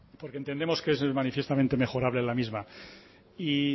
porque entendemos que es manifiestamente mejorable la misma y